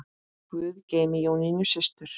Guð geymi Jónínu systur.